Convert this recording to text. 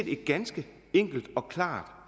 et ganske enkelt og klart